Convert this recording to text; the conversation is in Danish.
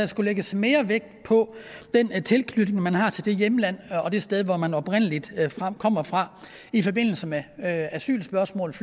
skulle lægges mere vægt på den tilknytning man har til det hjemland og det sted hvor man oprindelig kommer fra i forbindelse med asylspørgsmål